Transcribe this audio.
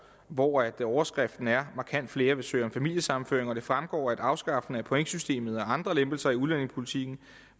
hvor overskriften er markant flere vil søge om familiesammenføring det fremgår at afskaffelse af pointsystemet og andre lempelser i udlændingepolitikken